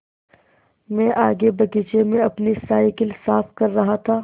मैं आगे बगीचे में अपनी साईकिल साफ़ कर रहा था